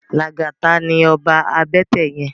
Lagata ni òbá àbètè yèn